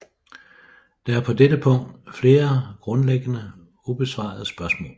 Der er på dette punkt flere grundlæggende ubesvarede spørgsmål